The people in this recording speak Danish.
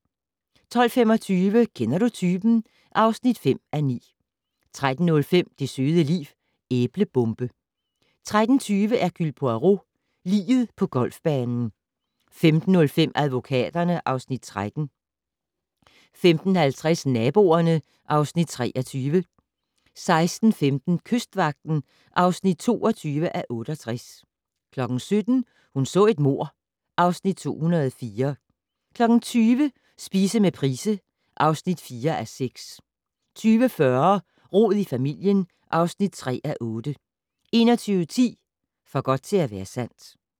12:25: Kender du typen? (5:9) 13:05: Det søde liv - Æblebombe 13:20: Hercule Poirot: Liget på golfbanen 15:05: Advokaterne (Afs. 13) 15:50: Naboerne (Afs. 23) 16:15: Kystvagten (22:68) 17:00: Hun så et mord (Afs. 204) 20:00: Spise med Price (4:6) 20:40: Rod i familien (3:8) 21:10: For godt til at være sandt